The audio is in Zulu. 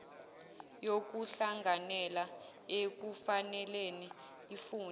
yokuhlanganela bekufanele ifune